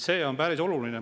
See on päris oluline.